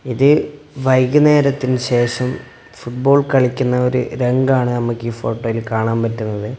ഇത് വൈകുന്നേരത്തിന് ശേഷം ഫുട്ബോൾ കളിക്കുന്ന ഒരു രംഗമാണ് നമ്മക്ക് ഈ ഫോട്ടോയിൽ കാണാൻ പറ്റുന്നത്.